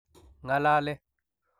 Ng'alale.